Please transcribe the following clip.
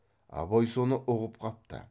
абай соны ұғып қапты